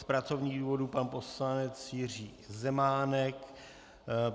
Z pracovních důvodů pan poslanec Jiří Zemánek.